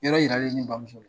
I yɔrɔ yiralen ne bamuso la